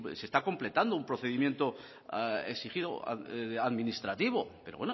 sí se está completando un procedimiento exigido administrativo pero